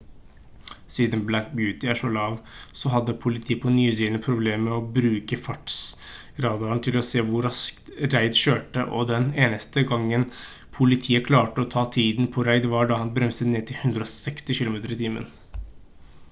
siden black beauty er så lav så hadde politiet på new zealand problemer med å bruke fartsradaren sin til å se hvor raskt reid kjørte og den eneste gangen politiet klarte å ta tiden på reid var da han bremset ned til 160 km/t